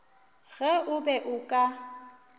ge o be o ka